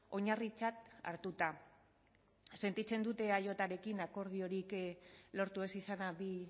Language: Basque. oinarritzat hartuta sentitzen dut eajrekin akordiorik lortu ez izana bi